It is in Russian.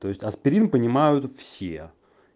то есть аспирин понимают все